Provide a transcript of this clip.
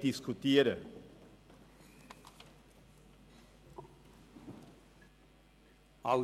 diskutieren wollen.